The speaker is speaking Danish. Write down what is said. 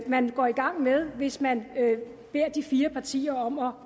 man går i gang med hvis man beder de fire partier om at